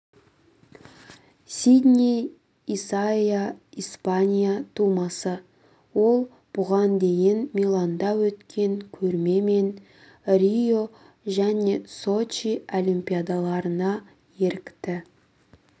сидней исайя испания тумасы ол бұған дейін миланда өткен көрме мен рио және сочи олимпиадаларына ерікті